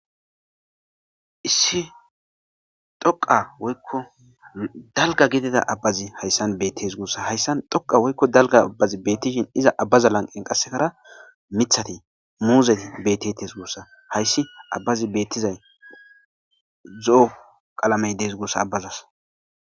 Issi dhoqa woykko dalga gidida abbazi hayssan bettes gussa hayssan dhoqa woykko dalga abbazi beettishin iza abbaza lanqen qassekara mithati muuzey betetees guussa hayssi abbazi bettizay zo7o qalamey dees gussa abbazas